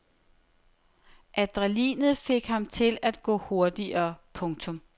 Adrenalinet fik ham til at gå hurtigere. punktum